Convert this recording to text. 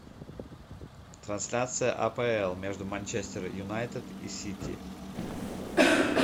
трансляция апл между манчестер юнайтед и сити